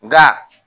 Nka